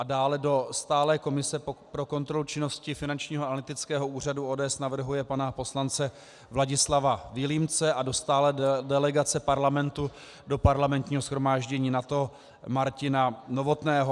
A dále do Stálé komise pro kontrolu činnosti Finančního analytického úřadu ODS navrhuje pana poslance Vladislava Vilímce a do Stálé delegace Parlamentu do Parlamentního shromáždění NATO Martina Novotného.